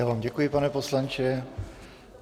Já vám děkuji, pane poslanče.